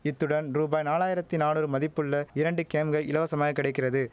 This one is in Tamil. இத்துடன் ரூபாய் நாலாயிரத்தி நானூறு மதிப்புள்ள இரண்டு கேம்க இலவசமாய் கிடைக்கிறது